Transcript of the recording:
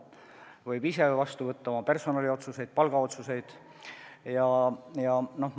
Ta võib ise personaliotsuseid, ka palgaotsuseid vastu võtta.